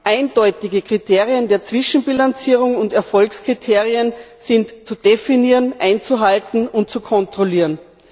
Eindeutige Kriterien der Zwischenbilanzierung und Erfolgskriterien sind zu definieren, einzuhalten und zu kontrollieren.